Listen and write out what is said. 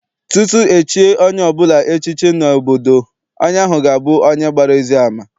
Tupu echie onye ọbụla echiche n'obodo, onye ahụ ga abụ onye agbara ezi ama.